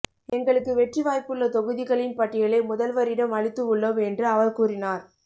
எங்களுக்கு வெற்றி வாய்ப்புள்ள தொகுதிகளின் பட்டியலை முதல்வரிடம் அளித்து உள்ளோம் என்று அவர் கூறினார்